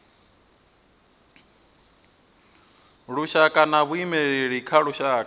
lushaka na vhaimeleli vha lushaka